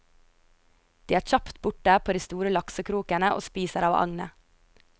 De er kjapt borte på de store laksekrokene og spiser av agnet.